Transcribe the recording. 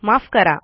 माफ करा